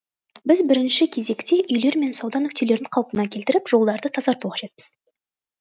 біз бірінші кезекте үйлер мен сауда нүктелерін қалпына келтіріп жолдарды тазарту қажетпіз